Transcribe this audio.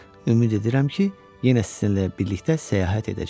Ümid edirəm ki, yenə sizinlə birlikdə səyahət edəcəm.